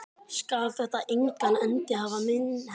Skal þetta engan endi hafa minn herra?